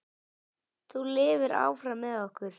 Þú lifir áfram með okkur.